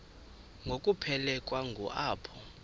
ngokuphelekwa ngu apho